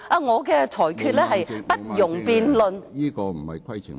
我的裁決是不容辯論的。